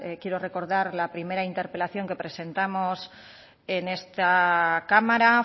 quiero recordar la primera interpelación que presentamos en esta cámara